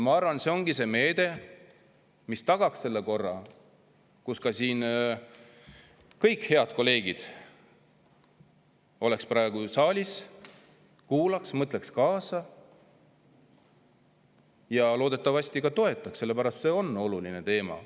Ma arvan, et see ongi see meede, mis tagaks selle korra, et kõik head kolleegid oleks praegu saalis, kuulaks, mõtleks kaasa ja loodetavasti ka toetaks, sest see on oluline teema.